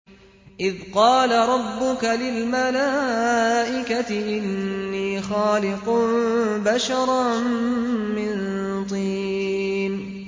إِذْ قَالَ رَبُّكَ لِلْمَلَائِكَةِ إِنِّي خَالِقٌ بَشَرًا مِّن طِينٍ